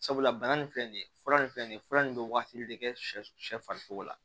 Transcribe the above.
Sabula bana nin filɛ nin ye fura nin filɛ nin ye fura nin bɛ waagati de kɛ shɛ farisogo la